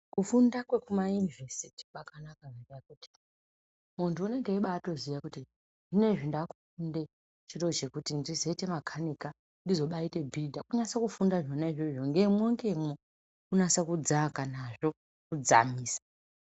Kufunda kwekuma inivhesiti kwakanaka ngendaa yekuti munthu unonga eibaziya kuti zvinzezvi ndakufunda zviro zvinoita kuti ndizoite makanika ,ndizoite bhiridha kunasa kufunda ngemwo ngemwo kunasa kudzamisa